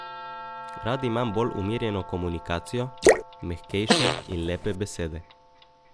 Rad imam bolj umirjeno komunikacijo, mehkejše in lepe besede.